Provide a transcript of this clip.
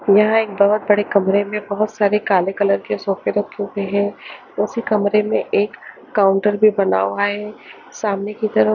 यहाँ एक बोहोत बड़े कमरे में बोहोत सारे काले कलर के सोफे रखे हुए हैं उसी कमरे में एक काउंटर भी बना हुआ है सामने की तरफ --